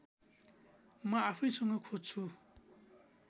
म आफैसँग खोज्छु